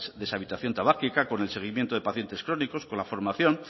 deshabitación tabáquica con el seguimiento de pacientes crónicos con la formación